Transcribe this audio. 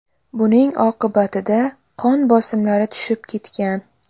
Buning oqibatida qon bosimlari tushib ketgan.